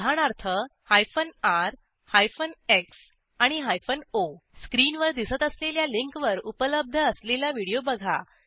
उदाहरणार्थ r x आणि o स्क्रीनवर दिसत असलेल्या लिंकवर उपलब्ध असलेला व्हिडिओ बघा